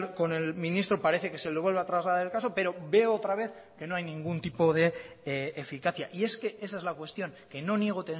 con el ministro parece que se le vuelve a trasladar el caso pero veo otra vez que no hay ningún tipo de eficacia y es que esa es la cuestión que no niego